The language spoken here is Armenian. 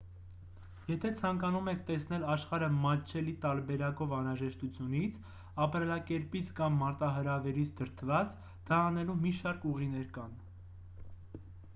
եթե ցանկանում եք տեսնել աշխարհը մատչելի տարբերակով անհրաժեշտությունից ապրելակերպից կամ մարտահրավերից դրդված դա անելու մի շարք ուղիներ կան